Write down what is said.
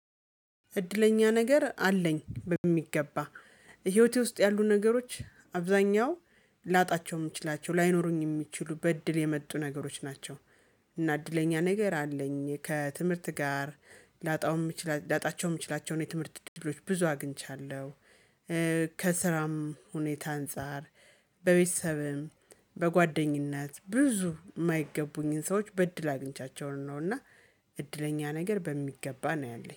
እድለኛ ነገር አለኝ በሚገባ ህይወቴ ውስጥ ያሉ ነገሮች አብዛኛው ላጣቸው የምችላቸው ላይኖሩኝ የሚችሉ በእድል የመጡ ነገሮች ናቸው። እና እድለኛ ነገር አለኝ ከትምህርት ጋር ላጣውም ላጣቸውም ይችላቸው የትምህርት ድርጅቶች ብዙ አግኝቻለሁ። ከስራም ሁኔታ አንፃር በቤተሰብም በጓደኝነት ብዙ የማይገቡኝን ሰዎች በእድል አግኝቻቸውን ነውና። እድለኛ ነገር በሚገባ ነው ያለኝ